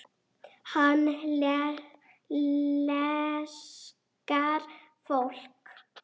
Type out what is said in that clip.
Hann elskar fólk.